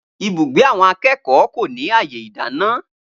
Ibùgbé àwọn akékòó kò ní àyè ìdáná